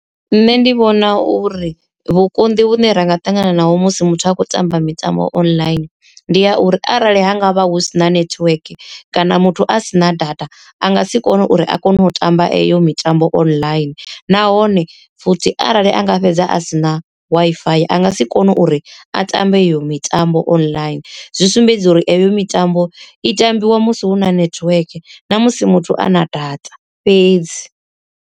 Nṋe ndi vhona uri vhukonḓi vhune ra nga ṱangana naho musi muthu a khou tamba mitambo online ndi ya uri arali ha ngavha hu sina network kana muthu a sina data, a nga si kone uri a kone u tamba eyo mitambo online. Nahone futhi arali anga fhedza a si na W_I_F_I a nga si kone uri a tambe eyo mitambo online, zwi sumbedza uri eyo mitambo i tambiwa musi hu na network na musi muthu ana data fhedzi.